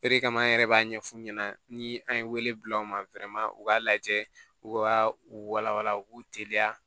O de kama an yɛrɛ b'a ɲɛfu ɲɛna ni an ye bila aw ma u k'a lajɛ u ka u walawala u k'u teliya